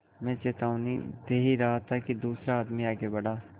मैं चेतावनी दे ही रहा था कि दूसरा आदमी आगे बढ़ा